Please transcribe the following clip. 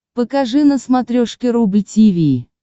покажи на смотрешке рубль ти ви